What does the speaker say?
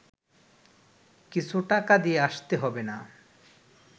কিছু টাকা দিয়ে আসতে হবে না